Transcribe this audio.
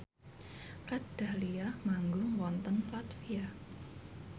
Kat Dahlia manggung wonten latvia